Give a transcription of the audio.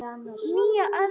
Nýja öld, á ég við.